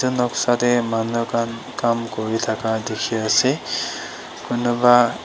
etu noksa teh manu khan kam kuri thaka dikhi ase kunba--